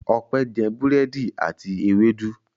Ọpẹ́ jẹ búrẹ́dì àti ewédú.